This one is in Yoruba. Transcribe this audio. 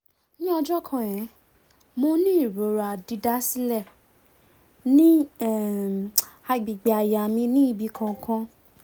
ni ọjọ kan um mo ni irora didasilẹ ni um agbegbe àyà mi ni ibi kan kan